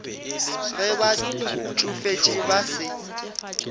ge ba tšofetše ba se